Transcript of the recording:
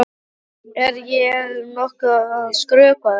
Er ég nokkuð að skrökva þessu?